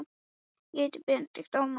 Magnús: Hvað er svona sérstakt við hann?